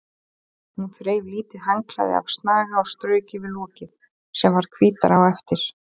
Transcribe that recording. Hún þreif lítið handklæði af snaga og strauk yfir lokið sem varð hvítara á eftir.